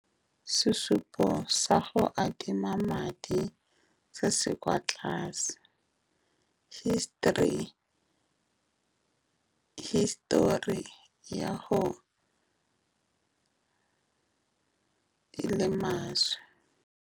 Sesupo sa go adima madi se se kwa tlase hisitori. Hisitori ya gago e le maswe.